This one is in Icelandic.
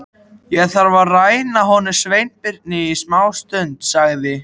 Ég þarf að ræna honum Sveinbirni smástund sagði